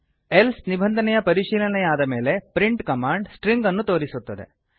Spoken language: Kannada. ಎಲ್ಸೆ ನಿಬಂಧನೆಯ ಪರಿಶೀಲನೆಯಾದ ಮೇಲೆ ಪ್ರಿಂಟ್ ಕಮಾಂಡ್ ಸ್ಟ್ರಿಂಗ್ ಅನ್ನು ತೋರಿಸುತ್ತದೆ